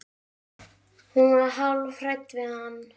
Hún var hálf hrædd við hann.